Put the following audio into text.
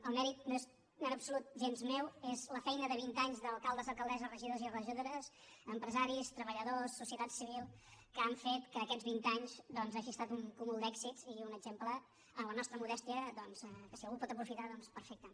el mèrit no és en absolut gens meu és la feina de vint anys d’alcaldes alcaldesses regidors i regidores empresaris treballadors societat civil que han fet que aquests vint anys hagin estat un cúmul d’èxits i un exemple en la nostra modèstia que si algú el pot aprofitar doncs perfecte